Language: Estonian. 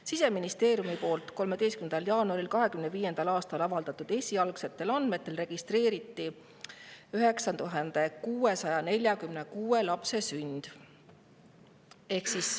Siseministeeriumi 13. jaanuaril 2025. aastal avaldatud esialgsetel andmetel registreeriti 9646 lapse sünd.